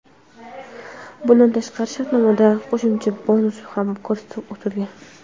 Bundan tashqari shartnomada qo‘shimcha bonuslar ham ko‘rsatib o‘tilgan.